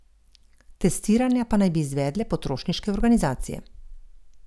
Testiranja pa naj bi izvedle potrošniške organizacije.